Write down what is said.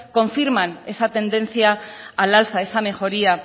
confirman esa tendencia al alza esa mejoría